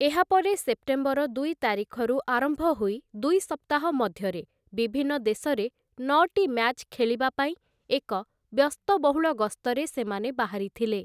ଏହାପରେ ସେପ୍ଟେମ୍ବର ଦୁଇ ତାରିଖରୁ ଆରମ୍ଭ ହୋଇ ଦୁଇ ସପ୍ତାହ ମଧ୍ୟରେ ବିଭିନ୍ନ ଦେଶରେ ନଅଟି ମ୍ୟାଚ୍ ଖେଳିବା ପାଇଁ ଏକ ବ୍ୟସ୍ତବହୁଳ ଗସ୍ତରେ ସେମାନେ ବାହାରିଥିଲେ ।